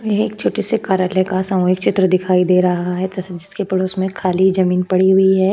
यह एक छोटे से कार्यालय का सामूहिक चित्र दिखाई दे रहा है तथा इसके पड़ोस में खाली ज़मीन पड़ी हुई है।